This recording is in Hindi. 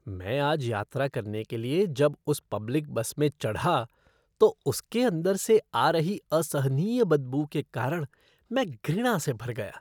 मैं आज यात्रा करने के लिए जब उस पब्लिक बस में चढ़ा तो उसके अंदर से आ रही असहनीय बदबू के कारण मैं घृणा से भर गया।